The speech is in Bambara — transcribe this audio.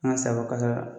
An ka sago kasa